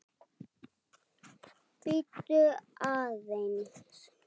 Bíddu aðeins